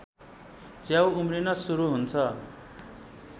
च्याउ उम्रिन सुरु हुन्छ